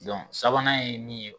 sabanan ye nin ye.